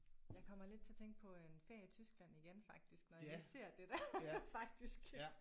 Jeg kommer lidt til at tænke på en ferie i Tyskland igen faktisk når jeg lige ser det der faktisk